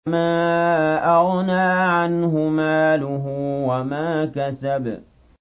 مَا أَغْنَىٰ عَنْهُ مَالُهُ وَمَا كَسَبَ